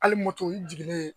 Hali moto i jiginnen